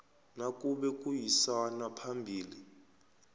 nakube kuyisanwa phambili